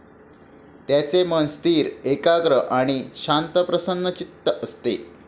त्याचे मन स्थिर, एकाग्र आणि शांतप्रसन्नचित्त असते.